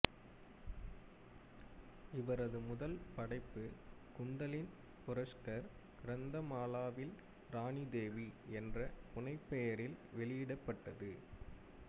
இவரது முதல் படைப்பு குந்தலின் புரஷ்கர் கிரந்தமாலாவில் ராணி தேவி என்ற புனைப்பெயரில் வெளியிடப்பட்டது